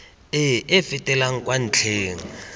e e fetelang kwa ntlheng